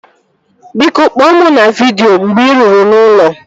Biko, kpọọ mụ na vidịo mgbe ị ruru n'ụlọ